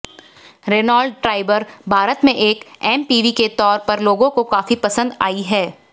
Renault Triber Bharat में एक MPV के तौर पर लोगों को काफी पसंद आई है